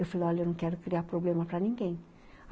Eu falei, olha, eu não quero criar problema para ninguém.